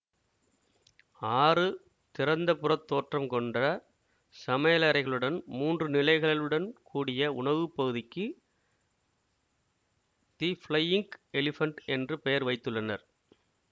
ஆறு திறந்தபுறத் தோற்றம் கொண்ட சமையலறைகளுடன் மூன்று நிலைகளுடன் கூடிய உணவுப்பகுதிக்கு தி ஃபிளையிங்க் எலிபென்ட் என்று பெயர் வைத்துள்ளனர்